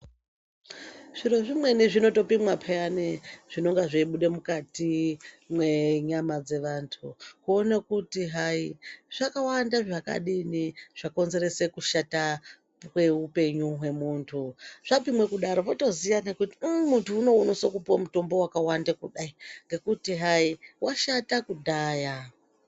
Zviro zvimweni zvinotopimwa peyani zvinonga zveibude mukati mwenyama dzevantu. Kuone kuti hayi zvakawanda zvakadini zvakonzerese kushata kweupenyu hwemuntu. Zvapimwa kudaro wotoziya nekuti uu muntu unou unosise kupiwe mutombo wakawanda kudai nekuti hayi washata kudhaya.